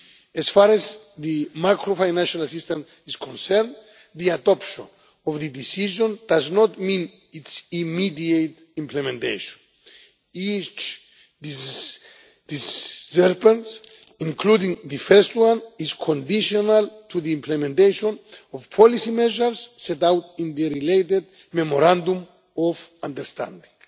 As far as the macro-financial assistance is concerned, the adoption of the decision does not mean its immediate implementation. Each disbursement, including the first one, is conditional on the implementation of policy measures set out in the related memorandum of understanding.